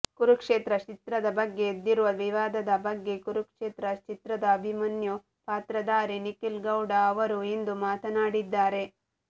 ಕುರುಕ್ಷೇತ್ರ ಚಿತ್ರದ ಬಗ್ಗೆ ಎದ್ದಿರುವ ವಿವಾದದ ಬಗ್ಗೆ ಕುರುಕ್ಷೇತ್ರ ಚಿತ್ರದ ಅಭಿಮನ್ಯು ಪಾತ್ರಧಾರಿ ನಿಖಿಲ್ ಗೌಡ ಅವರು ಇಂದು ಮಾತನಾಡಿದ್ದಾರೆ